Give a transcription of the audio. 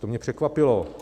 To mě překvapilo.